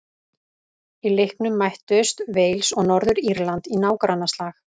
Í leiknum mættust Wales og Norður-Írland í nágrannaslag.